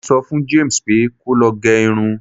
mo so fún James pe ko lo ge Irun